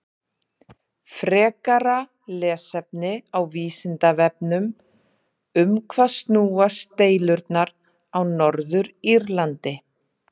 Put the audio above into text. Frekara lesefni á Vísindavefnum: Um hvað snúast deilurnar á Norður-Írlandi?